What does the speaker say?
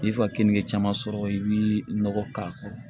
I ka keninke caman sɔrɔ i bi nɔgɔ k'a kɔrɔ